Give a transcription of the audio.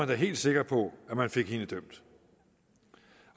da helt sikker på at man fik hende dømt